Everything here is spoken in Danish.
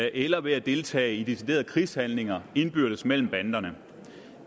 eller ved at deltage i deciderede krigshandlinger indbyrdes mellem banderne